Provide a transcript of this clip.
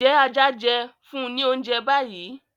Njẹ aja jẹ? funni l'ounjẹ bayi.!